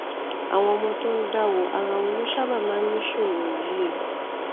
àwọn ọmọ tó ń dáwó ara wọn ló sábà máa ń ní ìṣòro yìí